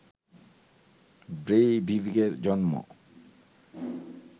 ব্রেইভিকের জন্ম